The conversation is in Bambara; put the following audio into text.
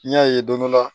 N'i y'a ye don dɔ la